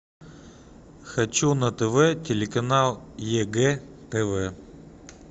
хочу на тв телеканал егэ тв